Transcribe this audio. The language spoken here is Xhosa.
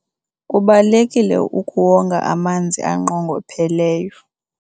kubalulekile ukuwonga amanzi anqongopheleyo